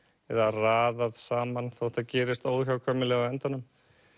eða raðað saman þótt það gerist óhjákvæmilega á endanum